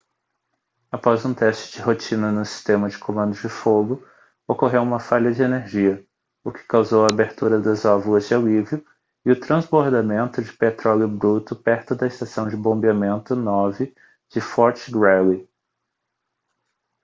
após um teste de rotina no sistema de comando de fogo ocorreu uma falha de energia o que causou a abertura das válvulas de alívio e o transbordamento de petróleo bruto perto da estação de bombeamento 9 de fort greely